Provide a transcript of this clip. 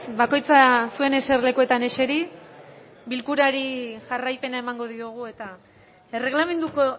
bakoitza zuen eserlekuetan eseri bilkurari jarraipena emango diogu eta erregelamenduko